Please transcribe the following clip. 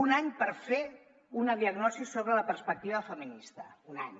un any per fer una diagnosi sobre la perspectiva feminista un any